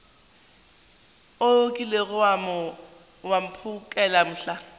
o kilego wa mphokela mohla